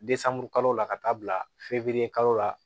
kalo la ka taa bila febekalo la